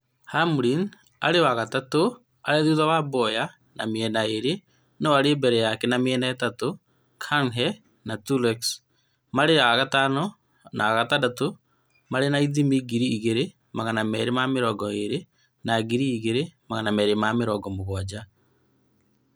Hamlin arĩ wa gatatũ, arĩ thutha wa Bowyer na mĩena ĩĩrĩ, no arĩ mbere yake na mĩena ĩtano. Kahne na Truex, Jr. marĩ a gatano na a gatandatũ marĩ na ithimi ngiri igĩrĩ magana meerĩ ma mĩrongo ĩĩrĩ na ngiri igĩrĩ magana meerĩ ma mũgwanja